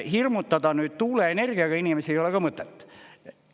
Hirmutada nüüd tuuleenergiaga inimesi ei ole ka mõtet.